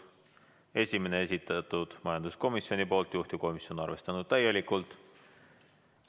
Esimene, esitanud majanduskomisjon, juhtivkomisjon on arvestanud täielikult.